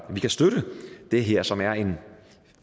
kan støtte det her som er en